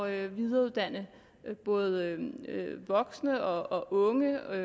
at videreuddanne både voksne og unge der